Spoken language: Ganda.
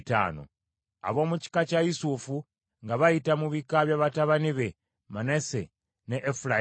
Ab’omu kika kya Yusufu nga bayita mu bika bya batabani be Manase ne Efulayimu.